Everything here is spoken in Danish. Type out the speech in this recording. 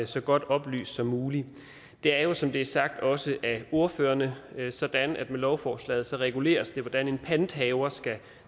så godt oplyst som muligt det er jo som det er sagt også af ordførerne sådan at det med lovforslaget reguleres hvordan en panthaver skal